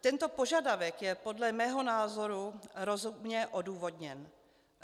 Tento požadavek je podle mého názoru rozumně odůvodněn.